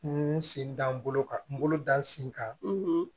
N sen da n bolo kan n bolo dan n sen kan